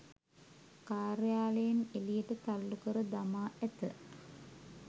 කාර්යාලයෙන් එළියට තල්ලු කර දමා ඇත